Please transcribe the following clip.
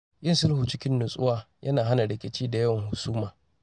Yin sulhu cikin nutsuwa yana hana rikici da yawan husuma.